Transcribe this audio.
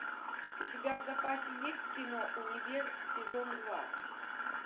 у тебя в запасе есть кино универ сезон два